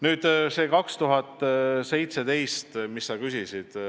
Nüüd see aasta 2017, mille kohta sa küsisid.